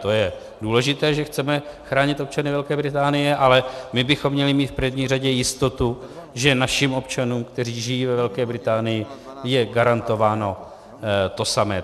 To je důležité, že chceme chránit občany Velké Británie, ale my bychom měli mít v první řadě jistotu, že našim občanům, kteří žijí ve Velké Británii, je garantováno to samé.